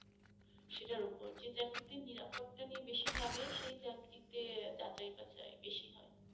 সেটার ওপর যে জাতিতে নিরাপত্তা নিয়ে বেশি ভাবে সেই চাকরিতে যাচাই বা চাই বেশি হয়।